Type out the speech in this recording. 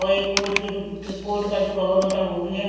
वो एक कोट की दुक कोट का जो कभर होता वो भी है।